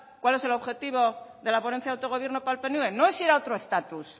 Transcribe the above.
cuál es el objetivo de la ponencia de autogobierno para el pnv no es ir a otro estatus